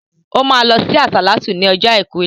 O ma lọ sí àsàlátú ní ọjọ́ àìkú